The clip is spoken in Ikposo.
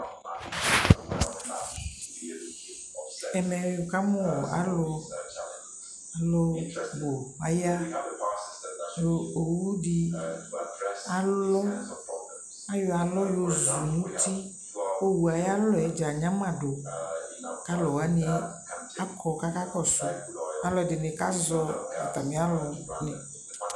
ɛmɛ wʋkamʋ alʋ bʋ aya, ɔwʋ di alɔ, ayɔ alɔ yɔzʋ nʋ ʋti kʋ ɔwʋɛ ayi alɔɛ dza anyama dʋ kʋ alʋ wani akɔ kʋ aka kɔsʋ, alʋɛdini kazɔ atami alʋ ni